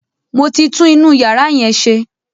Mo ti tún inú yàrá yẹn ṣe.